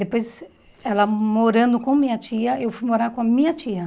Depois, ela morando com minha tia, eu fui morar com a minha tia.